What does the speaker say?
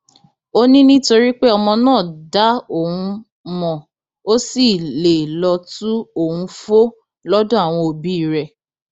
ó ní nítorí pé ọmọ náà dá òun mọ ó sì lè lọọ tu òun fó lọdọ àwọn òbí rẹ